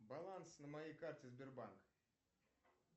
баланс на моей карте сбербанк